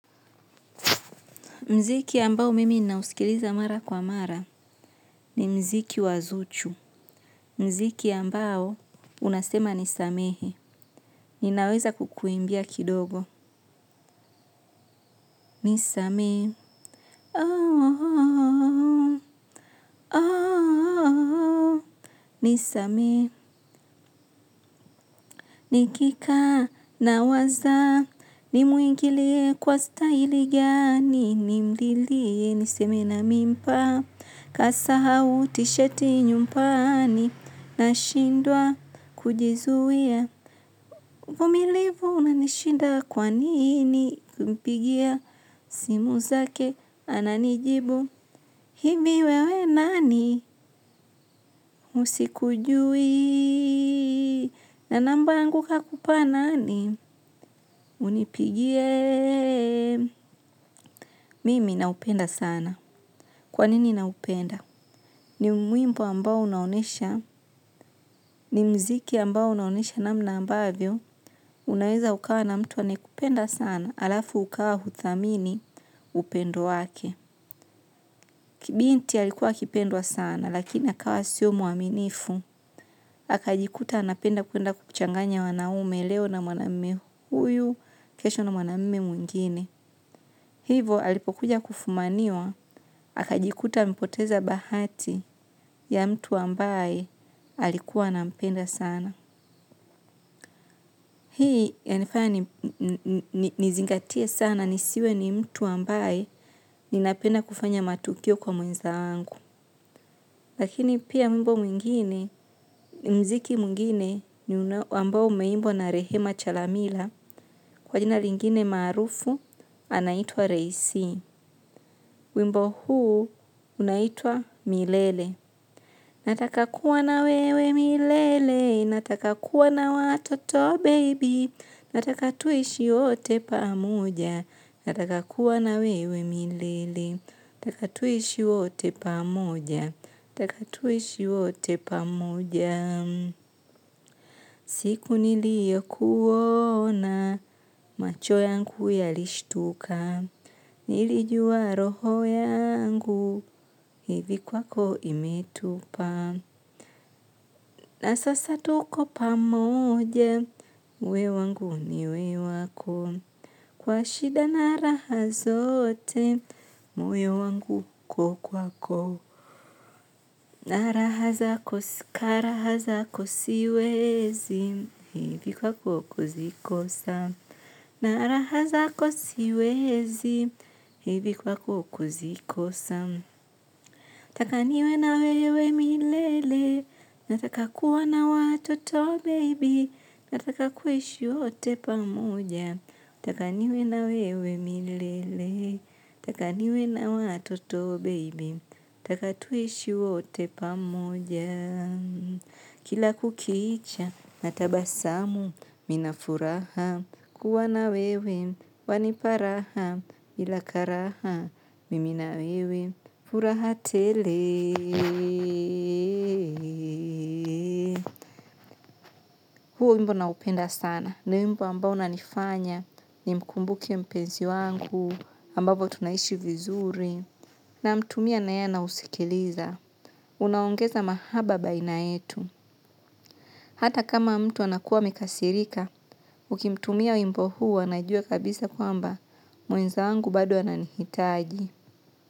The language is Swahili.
Mziki ambao mimi ninausikiliza mara kwa mara ni mziki wazuchu. Muziki ambao unasema nisamehe. Ninaweza kukuimbia kidogo. Nisamehe. Nisamehe nikikaa nawaza. Nimuingilie kwa staili gani. Nimlilie niseme na mimpa. Kasahau tisheti nyumbani. Nashindwa kujizuia. Vumilivu unanishinda kwa nini kumpigia simu zake ananijibu, hivi wewe nani usikujui, na namba yangu kakupa nani unipigie, mimi naupenda sana. Kwa nini na upenda? Ni wimbo ambao unaonyesha. Ni mziki ambao unaonyesha namna ambavyo. Unaweza ukawa na mtu anayekupenda sana alafu ukawa huthamini upendo wake. Kibinti alikuwa akipendwa sana lakini akawa sio mwaminifu. Akajikuta anapenda kwenda kuchanganya wanaume leo na mwanaume huyu, kesho na mwanaume mwingine. Hivo alipokuja kufumaniwa, akajikuta amepoteza bahati ya mtu ambaye alikuwa anampenda sana. Hii ya nifanya nizingatia sana nisiwe ni mtu ambaye ninapenda kufanya matukio kwa mwenza wangu. Lakini pia wimbo mwingine ni muziki mwingine ambao umeimbwa na Rehema chalamila kwa jina lingine maarufu anaitwa mwimbo huu unaitua milele. Natakakuwa na wewe milele, nataka kuwa na watoto baby, natakatuishi wote pamoja, natakakuwa na wewe milele. Nataka tuishi wote pamoja nataka tuishi wote pamoja. Siku nilio kuona, macho yangu yalishtuka. Nilijua roho yangu, hivi kwako imetupa. Na sasa tuko pamoja, we wangu ni we wako. Kwa shida naraha zote, moyo wangu uko kwako. Na raha zako karaha zako siwezi, hivi kwako kuzikosa na raha zako siwezi hivi kwako kuzikosa nataka niwe na wewe milele, nataka kuwa na watoto baby, nataka kuishi wote pamoja. Taka niwe na wewe milele. Taka niwe na watoto baby. Taka tuishi wote pamoja. Kila kukiicha natabasamu nina furaha kuwa na wewe. Waniparaha ila karaha mimi na wewe furaha tele. Huu wimbo na upenda sana. Ni wimbo ambao na nifanya. Ni mkumbuke mpenzi wangu ambavyo tunaishi vizuri na mtumia naye anausikiliza unaongeza mahaba baina yetu hata kama mtu anakuwa amekasirika ukimtumia wimbo huu anajua kabisa kwamba mwenza wangu bado ananihitaji.